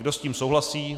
Kdo s tím souhlasí?